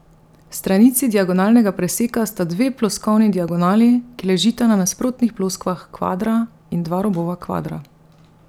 Stranici diagonalnega preseka sta dve ploskovni diagonali, ki ležita na nasprotnih ploskvah kvadra, in dva robova kvadra.